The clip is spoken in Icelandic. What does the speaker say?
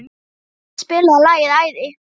Dáð, spilaðu lagið „Æði“.